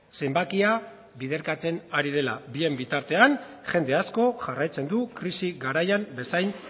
zenbakia biderkatzen ari dela bien bitartean jende asko jarraitzen du krisi garaian bezain